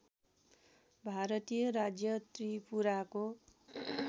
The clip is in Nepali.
भारतीय राज्य त्रिपुराको